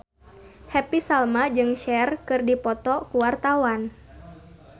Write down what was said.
Happy Salma jeung Cher keur dipoto ku wartawan